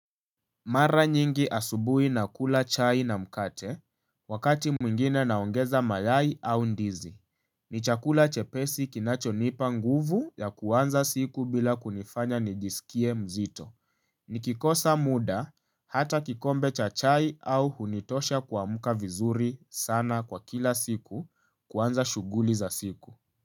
Mara nyingi asubuhi na kula chai na mkate wakati mwingine naongeza mayai au ndizi. Ni chakula chepesi kinacho nipa nguvu ya kuanza siku bila kunifanya nijisikie mzito. Nikikosa muda hata kikombe cha chai au hunitosha kuamka vizuri sana kwa kila siku kuanza shughuli za siku.